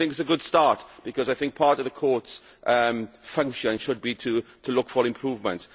I think it is a good start, because I think part of the Court's function should be to look for improvement.